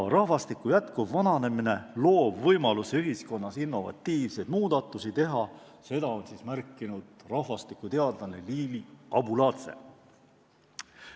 Rahvastiku jätkuv vananemine loob võimaluse ühiskonnas innovatiivseid muudatusi teha, nagu on märkinud rahvastikuteadlane Liili Abuladze.